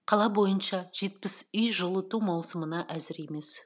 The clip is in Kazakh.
қала бойынша жетпіс үй жылыту маусымына әзір емес